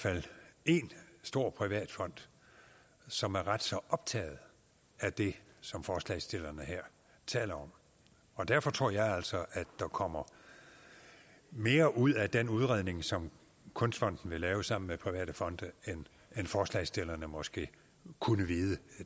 fald en stor privat fond som er ret så optaget af det som forslagsstillerne her taler om og derfor tror jeg altså at der kommer mere ud af den udredning som kunstfonden vil lave sammen med private fonde end forslagsstillerne måske kunne vide